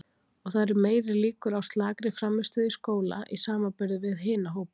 Og það eru meiri líkur á slakri frammistöðu í skóla í samanburði við hina hópana.